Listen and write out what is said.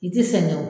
I ti sɛgɛn o